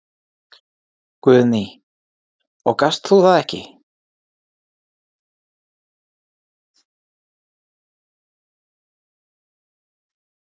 Guðný: Og gast þú það ekki?